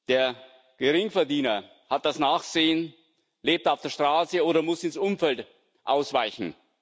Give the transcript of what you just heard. Der Geringverdiener hat das Nachsehen, lebt auf der Straße oder muss ins Umfeld ausweichen.